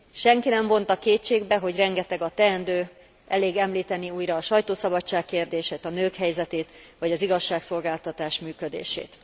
Senki nem vonta kétségbe, hogy rengeteg a teendő, elég említeni újra a sajtószabadság kérdését, a nők helyzetét, vagy az igazságszolgáltatás működését.